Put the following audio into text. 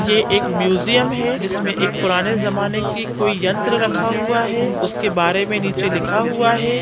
ये एक म्यूजियम है जिसमें एक पुराने ज़माने की कोई यंत्र रखा हुआ है उसके बारे में नीचे लिखा हुआ है।